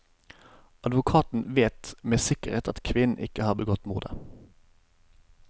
Advokaten vet med sikkerhet at kvinnen ikke har begått mordet.